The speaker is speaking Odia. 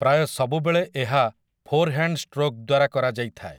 ପ୍ରାୟ ସବୁବେଳେ ଏହା ଫୋର୍‌ହ‍୍ୟାଣ୍ଡ୍ ଷ୍ଟ୍ରୋକ୍ ଦ୍ୱାରା କରାଯାଇଥାଏ ।